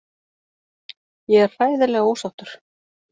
Ég er hræðilega ósáttur.